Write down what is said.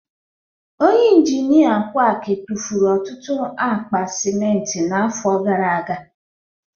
Onye injinia quack tụfuru ọtụtụ akpa simenti n'afọ gara aga